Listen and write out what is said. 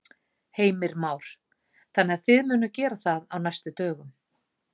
Heimir Már: Þannig að þið munuð gera það á næstu dögum?